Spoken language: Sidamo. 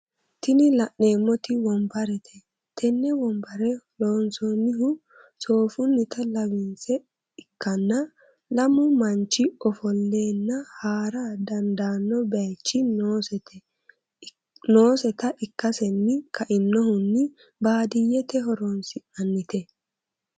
Tini la'neemoti wonbarete tene wonbare loonsoonihu soofunnita lawisinse ikkanna lammu manchi ofollenna haara dandaano bayiichi nooseta ikkaseni ka"inohunni baadiyete horonsi'nanite.